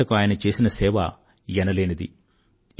hockey ఆటకు ఆయన చేసిన సేవ ఎనలేనిది